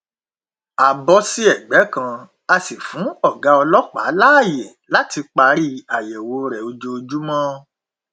a bọ sí ẹgbẹ kan a sì fún ọgá ọlọpàá láàyè láti parí àyẹwò rẹ ojoojúmọ